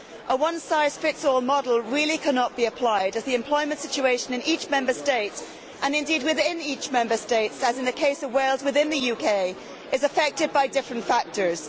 A one size fits all model really cannot be applied because the employment situation in each Member State and indeed within each Member State as in the case of Wales within the UK is affected by different factors.